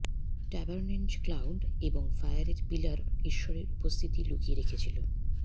ট্যাবার্নেন্জ cloud এবং ফায়ারের pillar ঈশ্বরের উপস্থিতি লুকিয়ে রেখেছিল